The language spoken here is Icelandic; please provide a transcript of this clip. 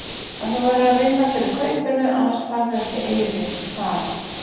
En þú verður að vinna fyrir kaupinu, annars færðu ekki eyri, ha?